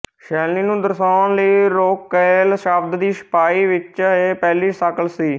ਸ਼ੈਲੀ ਨੂੰ ਦਰਸਾਉਣ ਲਈ ਰੋਕੈਲ ਸ਼ਬਦ ਦੀ ਛਪਾਈ ਵਿੱਚ ਇਹ ਪਹਿਲੀ ਸ਼ਕਲ ਸੀ